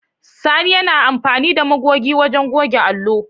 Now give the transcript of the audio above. Sani yana amfani da magoge wajen goge allo.